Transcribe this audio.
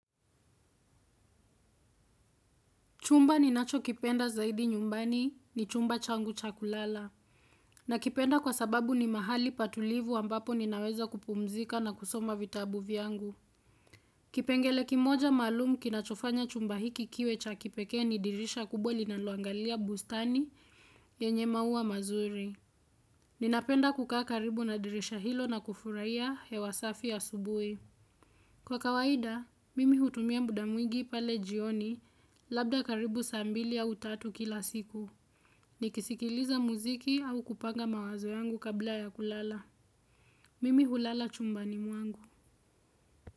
Chumba ninacho kipenda zaidi nyumbani ni chumba changu cha kulala. Na kipenda kwa sababu ni mahali pa tulivu ambapo ninaweza kupumzika na kusoma vitabu vyangu. Kipengele kimoja maalum kinachofanya chumba hiki kiwe cha kipekee ni dirisha kubwa linaloangalia bustani nyenye maua mazuri. Ninapenda kukaa karibu na dirisha hilo na kufurahia hewa safi asubui. Kwa kawaida, mimi hutumia muda mwingi pale jioni labda karibu saa mbili au tatu kila siku. Nikisikiliza muziki au kupanga mawazo yangu kabla ya kulala. Mimi hulala chumbani mwangu.